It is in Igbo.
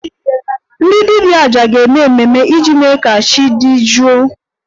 Ndị dibia 'aja' ga-eme emume iji mee ka chi dị jụụ